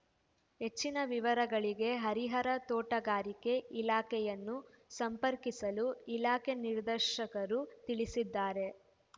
ಹೆಚ್ಚಿನ ವಿವರಗಳಿಗೆ ಹರಿಹರ ತೋಟಗಾರಿಕೆ ಇಲಾಖೆಯನ್ನು ಸಂಪರ್ಕಿಸಲು ಇಲಾಖೆ ನಿರ್ದೇಶಕರು ತಿಳಿಸಿದ್ದಾರೆ